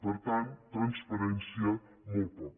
per tant transparència molt poca